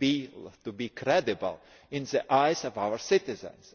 need to be credible in the eyes of our citizens